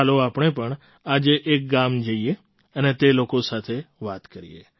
ચાલો આપણે પણ આજે એક ગામ જઈએ અને તે લોકો સાથે વાત કરીએ